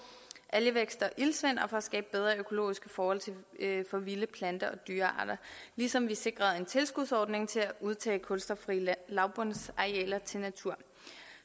algevækst og iltsvind og for at skabe bedre økologiske forhold for vilde planter og dyrearter ligesom vi sikrede en tilskudsordning til at udtage kulstoffrie lavbundsarealer til natur